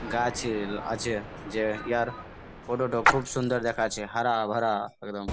গাছেল আছে যে ইহার ফটো -টো খুব সুন্দর দেখাচ্ছে হরা ভরা একদম।